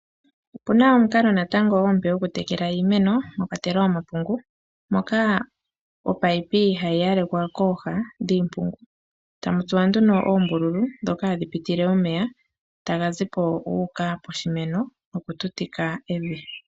Opuna omukalo natango omupe gokutekela iimeno mwakwatelwa omapungu moka opayipi hayi yalekwa kooha dhiimpungu tamu tsuwa nduno oombululu ndhoka hadhi pitile omeya taga zi po gu uka poshimeno nokututika evi.